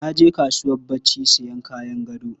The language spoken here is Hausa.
Na je kasuwar barci sayan kayan gado.